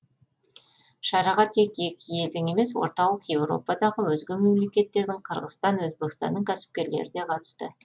шараға тек екі елдің емес орталық еуропадағы өзге мемлекеттердің қырғызстан өзбекстанның кәсіпкерлері де қатысты